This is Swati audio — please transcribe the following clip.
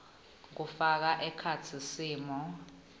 kufaka ekhatsi simo